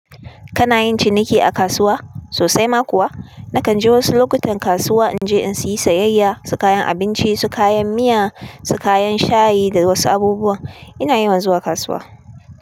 Kana yin ciniki a kasuwa sosai ma kuwa? Nakan je wasu lokutan kasuwa in je in sayi sayayya, su kayan abinci, su kayan miya, su kayan shayi da wasu abubuwa. Ina yawan zuwa kasuwa.